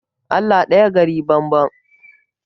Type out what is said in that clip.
Allah ɗaya gari banban.